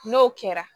N'o kɛra